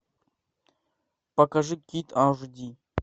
покажи кит аш ди